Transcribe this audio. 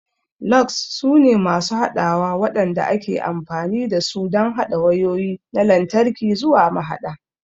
Lugs sune masu haɗawa waɗanda ake amfani da su don haɗa wayoyi na lantarki zuwa mahaɗa.